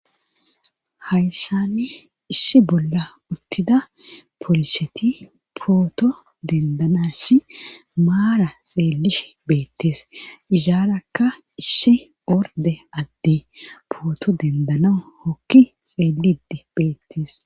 Hayssani issi bolla uttida poliseti pooto dendanasi maara xeelish beettees izaarakka issi orde addi pooto dendana hokki xeelidi beettes.